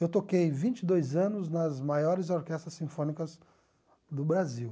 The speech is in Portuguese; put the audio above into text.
Eu toquei vinte e dois anos nas maiores orquestras sinfônicas do Brasil.